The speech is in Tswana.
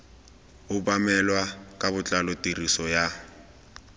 obamelwa ka botlalo tiriso ya